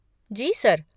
जी, sir.